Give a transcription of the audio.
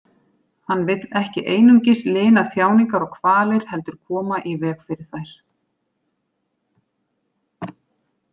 Hann vill ekki einungis lina þjáningar og kvalir heldur koma í veg fyrir þær.